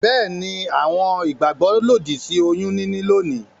Beeni, a ni àwon ìgbàgbó òdì sí oyún níní lónìí